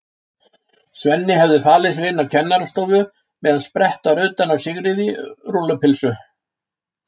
Svenni hefðu falið sig inni á kennarastofu meðan sprett var utan af Sigríði rúllu- pylsu.